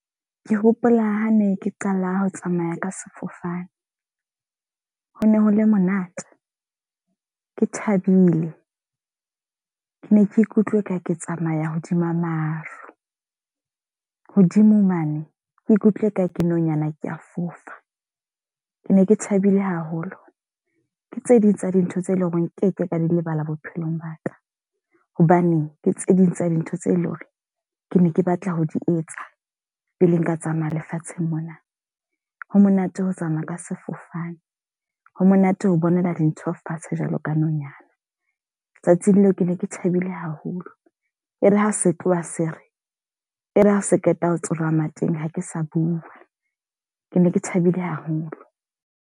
Ke hopola ha ne ke qala ho tsamaya ka sefofane. Ho ne ho le monate, ke thabile. Ke ne ke ikutlwe e ka ke tsamaya hodima maru. Hodimo mane, ke ikutlwe e ka ke nonyana ke a fofa. Ke ne ke thabile haholo. Ke tse ding tsa dintho tse leng hore nkeke ka di lebala bophelong ba ka. Hobane ke tse ding tsa dintho tse leng hore ke ne ke batla ho di etsa pele nka tsamaya lefatsheng mona. Ho monate ho tsamaya ka sefofane, ho monate ho bonela dintho fatshe jwalo ka nonyana. Tsatsing leo ke ne ke thabile haholo. Ere ha se tloha se re, e re ha se qeta ho tsoha ha ke sa bua. Ke ne ke thabile haholo.